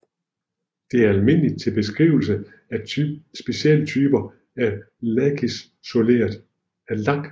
Det er almindeligt til beskrivelse af specielle typer af lakisoleret metaltråd til transformatorer